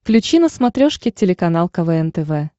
включи на смотрешке телеканал квн тв